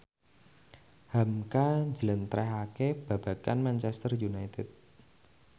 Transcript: hamka njlentrehake babagan Manchester united